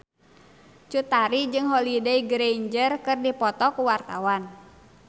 Cut Tari jeung Holliday Grainger keur dipoto ku wartawan